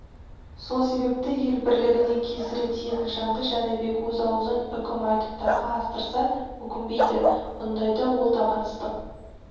сол себепті ел бірлігіне кесірі тиетін жанды жәнібек өз аузынан үкім айтып дарға астырса өкінбейді мұндайда ол табансыздық